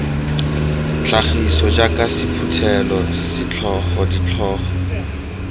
tlhagiso jaaka sephuthelo setlhogo ditlhogo